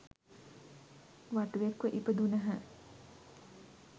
වටුවෙක් ව ඉපදුණහ.